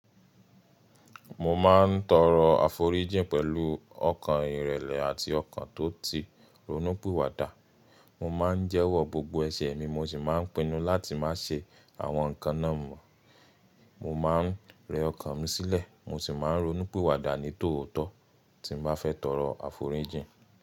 Mo máa ń tọrọ aforíjìn pẹ̀lú ọkàn ìrẹlẹ̀ àti ọkàn tó ti ronú pìwà dà. Mo máa ń jẹ́wọ́ gbogbo ẹ̀ṣẹ̀ mi, mo sì máa ń pinnu láti má ṣe àwọn nǹkan náà mọ̀. Mo máa ń rẹ ọkàn mi sílẹ̀, mo sì máa ń ronú pìwà dà ní tòótò tí mo bá fẹ́ tọrọ aforíjìn.